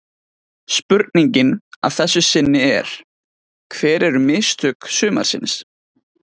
Spurningin að þessu sinni er: Hver eru mistök sumarsins?